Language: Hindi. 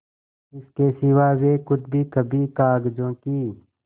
इसके सिवा वे खुद भी कभी कागजों की